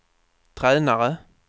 tränare